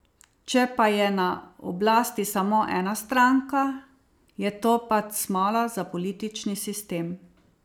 Če pa je na oblasti samo ena stranka, je to pač smola za politični sistem.